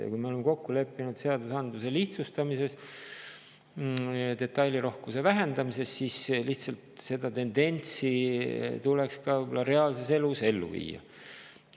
Ja kui me oleme kokku leppinud seadusandluse lihtsustamises, detailirohkuse vähendamises, siis seda tendentsi tuleks ka reaalses elus ellu viia.